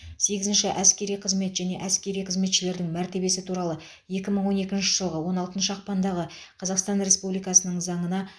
сегізінші әскери қызмет және әскери қызметшілердің мәртебесі туралы екі мың он екінші жылғы он алтыншы ақпандағы қазақстан республикасының заңына